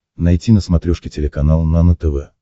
найти на смотрешке телеканал нано тв